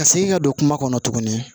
Ka segin ka don kuma kɔnɔ tuguni